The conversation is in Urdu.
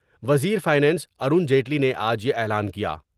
وزیر فائنانس ارون جیٹلی نے آج یا اعلان کیا ۔